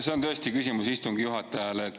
See on tõesti küsimus istungi juhatajale.